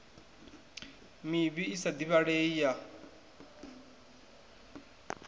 mivhi i sa divhalei ya